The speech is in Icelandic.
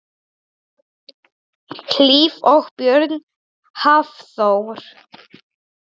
Hlíf og Björn Hafþór.